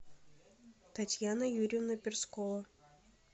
татьяна юрьевна перскова